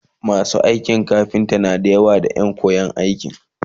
masu aikin kafinta da yawa na da Ƴan koyan aiki